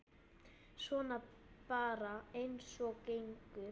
Svona bara eins og gengur.